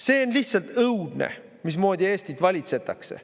See on lihtsalt õudne, mismoodi Eestit valitsetakse.